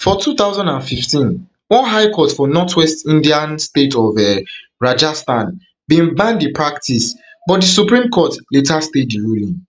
for two thousand and fifteen one high court for northwest indian state of um rajasthan bin ban di practice but di supreme court later stay di ruling